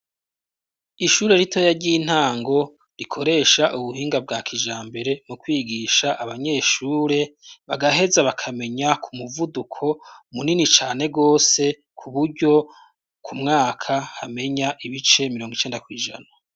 Ishure ritoya ry'intango rikoresha ubuhinga bwa kijambere mu kwigisha abanyeshure bagaheza bakamenya ku muvuduko munini cane gose kuburyo ku mwaka hamenya ibice mirongo icenda kw'ijana.